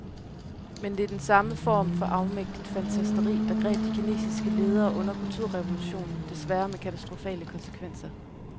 Men det er den samme form for afmægtigt fantasteri, der greb de kinesiske ledere under kulturrevolutionen, desværre med katastrofale konsekvenser.